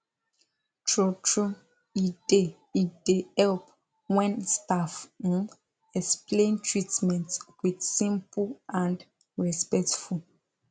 truetrue e dey e dey help when staff um explain treatment with simple and respectful